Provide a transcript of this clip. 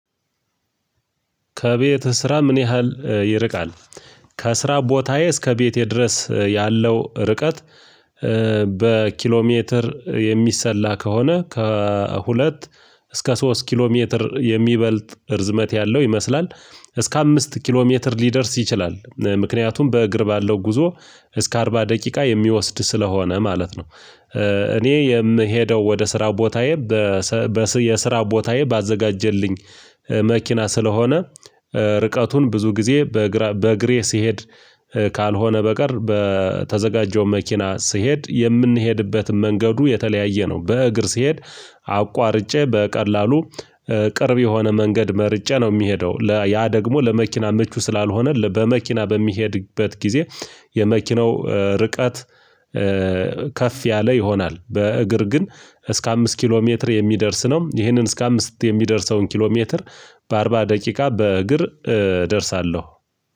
ከቤት ስራ ምን ያህል ይርቃል? ከስራ ቦታዬ እስከ ቤቴ ድረስ ያለው ርቀት። በኪሎ ሜትር የሚሰላ ከሆነ ከሁለት እስከ ሶስት ኪሎ ሜትር የሚበልጥ እርዝመት ያለው ይመስላል። እስከ አምስት ኪሎ ሜትር ሊደርስ ይችላል ምክንያቱም በእግር ባለው ጉዞ እስከ አርባ ደቂቃ የሚወስድ ስለሆነ ማለት ነው። እኔ የምሄደው ወደ ስራው ቦታዬ በ የስራው ቦታዬ ባዘጋጀልኝ መኪና ስለሆነ። ርቀቱን ብዙ ጊዜ በእግሬ ስሄድ ካልሆነ በቀር በተዘጋጀው መኪና ስሄድ የምንሄድበትን መንገዱ የተለያየ ነው። በእግር ስሄድ አቋርጬ በቀላሉ ቅርብ የሆነ መንገድ መርጬ ነው የሚሄደው ያ ደግሞ ለመኪና ምቹ ስላልሆነ በመኪና በሚሄድበት ጊዜ። የመኪናው ርቀት ከፍ ያለ ይሆናል። በእግር ግን እስከ አምስት ኪሎ ሜትር የሚደርስ ነው። ይህንን እስከ አምስት የሚደርሰውን ኪሎ ሜትር በአርባ ደቂቃ በእግር እደርሳለሁ።